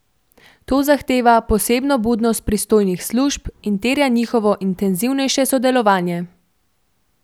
To zahteva posebno budnost pristojnih služb in terja njihovo intenzivnejše sodelovanje.